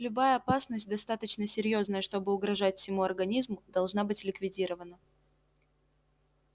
любая опасность достаточно серьёзная чтобы угрожать всему организму должна быть ликвидирована